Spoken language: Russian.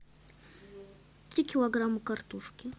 три килограмма картошки